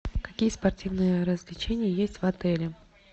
какие спортивные развлечения есть в отеле